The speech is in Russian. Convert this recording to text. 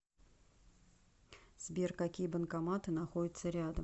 сбер какие банкоматы находятся рядом